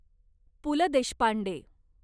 Pu La Deshpande